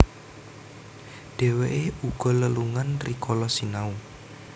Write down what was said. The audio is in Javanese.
Dhèwèké uga lelungan rikala sinau